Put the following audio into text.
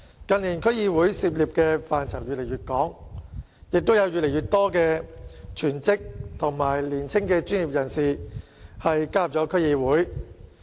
近年區議會涉足的範疇越來越廣，亦有越來越多全職和年輕的專業人士加入區議會。